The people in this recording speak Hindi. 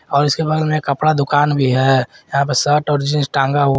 और इसके बगल में कपड़ा दुकान भी है यहां पे शर्ट और जींस टांगा हु--